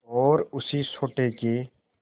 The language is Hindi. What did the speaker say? और उसी सोटे के